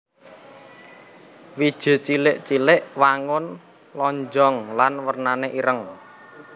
Wiji cilik cilik wangun lonjong lan wernané ireng